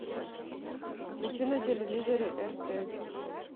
включи на телевизоре рт